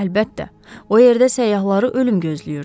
Əlbəttə, o yerdə səyyahları ölüm gözləyirdi.